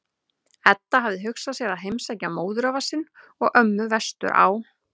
Edda hafði hugsað sér að heimsækja móðurafa sinn og-ömmu vestur á